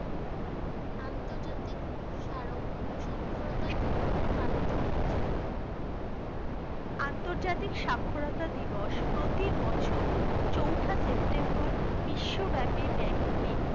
আন্তর্জাতিক সাক্ষরতা দিবস পালিত হয়েছে আন্তর্জাতিক সাক্ষরতা দিবস প্রতি বছর চৌঠা September বিশ্বব্যাপী ব্যক্তি